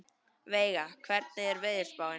Veiga, hvernig er veðurspáin?